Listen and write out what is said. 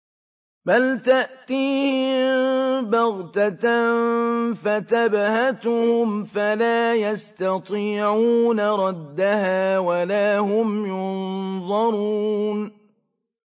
بَلْ تَأْتِيهِم بَغْتَةً فَتَبْهَتُهُمْ فَلَا يَسْتَطِيعُونَ رَدَّهَا وَلَا هُمْ يُنظَرُونَ